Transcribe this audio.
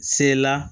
Sela